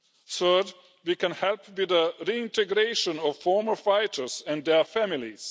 Third, we can help with the reintegration of former fighters and their families.